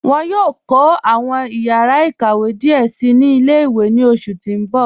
Wọn yòò kọ awọn yàrà ịkàwé díẹ sí ni ilẹ̀-ìwé ní oṣù tí n bọ̀.